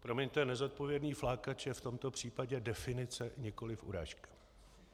Promiňte, nezodpovědný flákač je v tomto případě definice, nikoliv urážka.